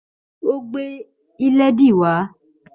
Ó gbé ìlédìí wá